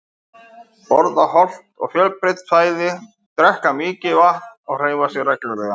Borða hollt og fjölbreytt fæði, drekka mikið vatn og hreyfa þig reglulega.